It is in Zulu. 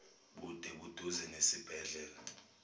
bude buduze nesibhedlela